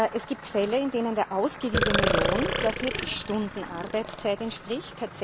Es gibt Fälle, in denen der ausgewiesene Lohn zwar 40 Stunden Arbeitszeit entspricht.